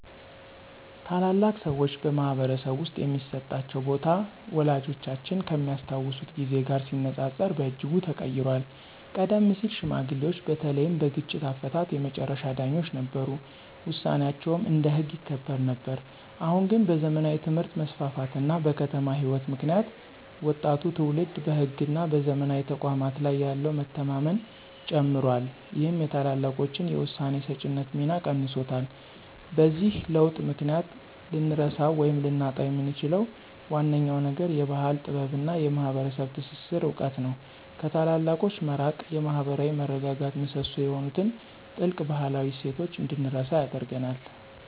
ታላላቅ ሰዎች በማኅበረሰብ ውስጥ የሚሰጣቸው ቦታ ወላጆቻችን ከሚያስታውሱት ጊዜ ጋር ሲነጻጸር በእጅጉ ተቀይሯል። ቀደም ሲል ሽማግሌዎች በተለይም በግጭት አፈታት የመጨረሻ ዳኞች ነበሩ፤ ውሳኔያቸውም እንደ ሕግ ይከበር ነበር። አሁን ግን በዘመናዊ ትምህርት መስፋፋት እና በከተማ ሕይወት ምክንያት ወጣቱ ትውልድ በሕግና በዘመናዊ ተቋማት ላይ ያለው መተማመን ጨምሯል ይህም የታላላቆችን የውሳኔ ሰጪነት ሚና ቀንሶታል። በዚህ ለውጥ ምክንያት ልንረሳው ወይም ልናጣው የምንችለው ዋነኛው ነገር የባሕል ጥበብና የማኅበረሰብ ትስስር እውቀት ነው። ከታላላቆች መራቅ የማኅበራዊ መረጋጋት ምሰሶ የሆኑትን ጥልቅ ባህላዊ እሴቶች እንድንረሳ ያደርገናል።